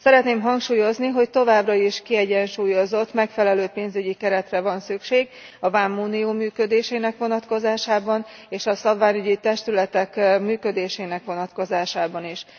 Szeretném hangsúlyozni, hogy továbbra is kiegyensúlyozott, megfelelő pénzügyi keretre van szükség a vámunió működésének vonatkozásában és a szabványügyi testületek működésének vonatkozásában is.